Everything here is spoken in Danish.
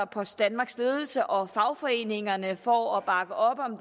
post danmarks ledelse og fagforeningerne for at bakke op om